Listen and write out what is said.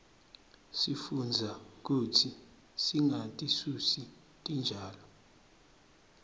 sifundza kutsi singatisusi titjalo